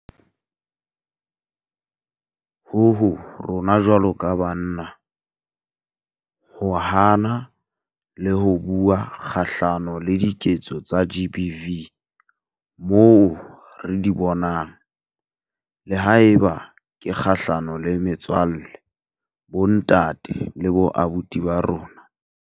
Ho ho rona jwalo ka banna ho hana le ho bua kgahlano le diketso tsa GBV moo re di bonang, le haeba ke kgahlano le metswalle, bontate le boabuti ba rona.